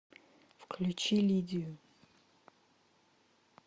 включи лидию